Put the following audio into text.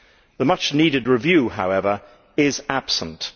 The much needed review, however, is absent.